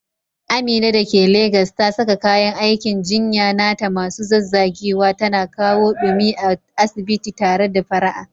Amina da ke Legas ta saka kayan aikin jinya nata masu zazzagewa, tana kawo ɗumi a asibiti tare da fara'a.